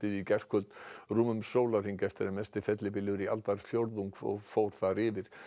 í gærkvöld rúmum sólarhring eftir að mesti fellibylur í aldarfjórðung fór fór þar yfir